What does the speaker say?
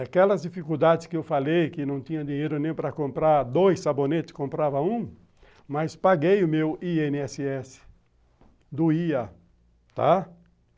Aquelas dificuldades que eu falei, que não tinha dinheiro nem para comprar dois sabonetes, comprava um, mas paguei o meu i ene esse esse, doía, tá?